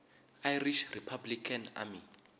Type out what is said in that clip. irish republican army